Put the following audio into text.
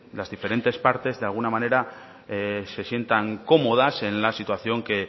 las diferentes partes de alguna manera se sientan cómodas en la situación que